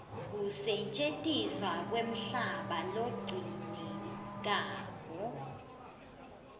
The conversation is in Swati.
kusetjentiswa kwemhlaba lokugcinekako